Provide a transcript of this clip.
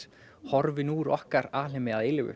horfin úr okkar alheimi að eilífu